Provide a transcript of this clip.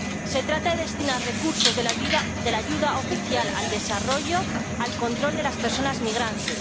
Se trata de destinar recursos de la ayuda oficial al desarrollo al control de las personas migrantes.